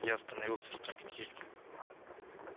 я остановился в трактире